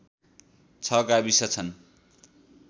६ गाविस छन्